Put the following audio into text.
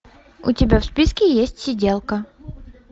у тебя в списке есть сиделка